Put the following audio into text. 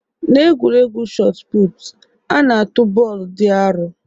Na egwuregwu shot put, ha na-atụ bọọlụ di aro